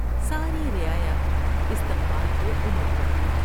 ساری رعایا استقبال کوانڈ پڑی ۔